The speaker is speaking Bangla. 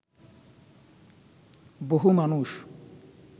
বহু মানুষ